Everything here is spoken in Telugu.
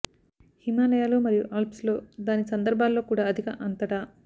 హిమాలయాలు మరియు ఆల్ప్స్ లో దాని సందర్భాల్లో కూడా అధిక అంతటా